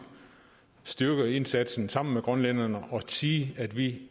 styrke indsatsen sammen med grønlænderne og sige at vi